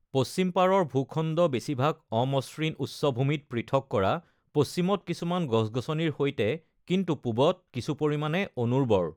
পশ্চিম পাৰৰ ভূখণ্ড বেছিভাগ অমসৃণ উচ্চভূমিত পৃথক কৰা, পশ্চিমত কিছুমান গছ-গছনিৰ সৈতে, কিন্তু পূবত কিছু পৰিমাণে অনুৰ্বৰ।